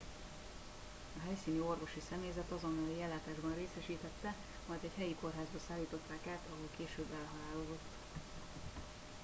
a helyszíni orvosi személyzet azonnali ellátásban részesítette majd egy helyi kórházba szállították át ahol később elhalálozott